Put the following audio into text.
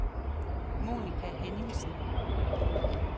Monica Henningsen